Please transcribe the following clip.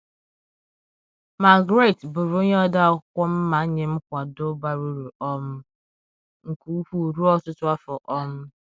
Margaret bụrụ onye odeakwụkwọ m ma nye m nkwado bara uru um nke ukwuu ruo ọtụtụ afọ. um